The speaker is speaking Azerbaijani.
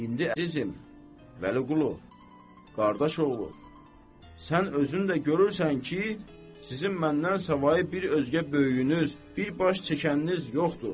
İndi əzizim Vəliqulu, qardaş oğlu, sən özün də görürsən ki, sizin məndən savayı bir özgə böyüyünüz, bir baş çəkəniniz yoxdur.